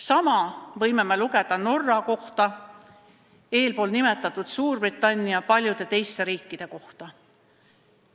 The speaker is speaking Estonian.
Sama võime lugeda Norra kohta, eespool nimetatud Suurbritannia ja paljude teiste riikide kohta.